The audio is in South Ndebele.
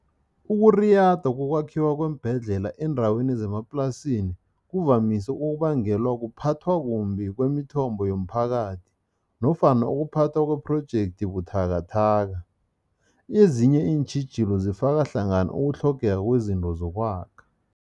Ukuriyada yokwakhiwa kweembhedlela eendaweni zemaplasini kuvamise ukubangelwa kuphathwa kumbi kwemithombo yomphakathi nofana ukuphathwa kwephrojekthi buthakathaka. Ezinye iintjhijilo zifaka hlangana ukutlhogeka kwezinto zokwakha.